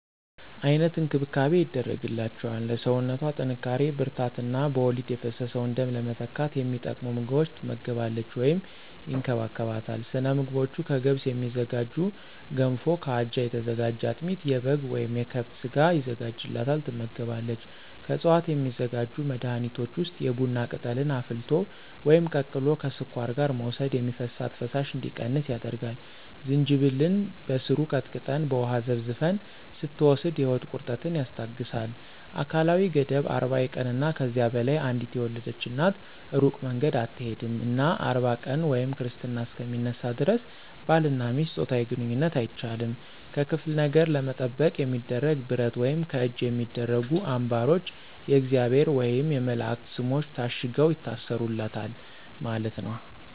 አይነት እንክብካቤ ይደረግላቸዋል ለሰውነቶ ጥንካሪ ብርራታት እነ በወሊድ የፈሰሰውን ደም ለመተካት የሚጠቅሙ ምግቦች ትመገባለች ወይም ይከባከቦታል። ሰለምግቦቹ ከገብስ የሚዝጋጁ ገንፎ ከአጃ የተዘጋጀ አጥሚት የበጋ ወይም የከብት ስጋ የዘጋጅላታል ትመገባለች። ከዕፅዋት የሚዘጋጁ መድኃኒቶች ውስጥ የቡና ቅጠልን አፍልቶ ወይም ቀቅሎ ከስኳር ጋር መውሰድ የሚፈሳት ፈሳሽ እንዲቀንስ ያደርጋል፣ ዝንጅብልን በሰሩን ቀጥቀጠን በውሃ ዘፍዝፈን ስትወስድ የሆድ ቁረጠትን ያስታገሳል። አካላዊ ገደብ 40 የቀንና ከዚያ በላይ አንዴት የወለድች እናት እሩቅ መንገድ አትሆድም እና 40 ቀን ወይም ክርስትና እሰከ ሚነሳ ደረስ ባልና ሚስት ጾታዊ ግንኝነት አይቻልም። ከክፍለ ነገር ለመጠበቅ የሚደረገው ብረት ወይም ከእጅ የሚደረጉ አንባሮች የእግዚአብሔር ወየም የመላእክት ሰሞች ታሽገው ይታሰሩለታል ማለት ነው።